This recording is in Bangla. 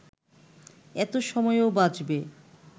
এতে সময়ও বাঁচবে